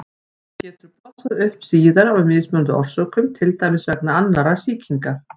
Hún getur blossað upp síðar af mismunandi orsökum, til dæmis vegna annarra sýkinga.